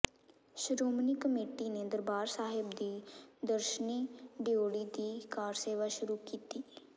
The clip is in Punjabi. ਸ਼੍ਰੋਮਣੀ ਕਮੇਟੀ ਨੇ ਦਰਬਾਰ ਸਾਹਿਬ ਦੀ ਦਰਸ਼ਨੀ ਡਿਓਢੀ ਦੀ ਕਾਰਸੇਵਾ ਸ਼ੁਰੂ ਕੀਤੀ